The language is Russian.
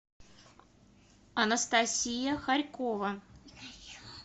анастасия хорькова